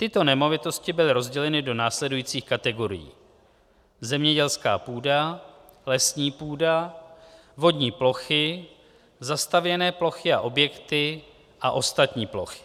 Tyto nemovitosti byly rozděleny do následujících kategorií: zemědělská půda, lesní půda, vodní plochy, zastavěné plochy a objekty a ostatní plochy.